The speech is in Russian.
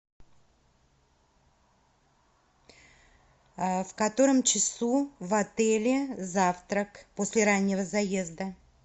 в котором часу в отеле завтрак после раннего заезда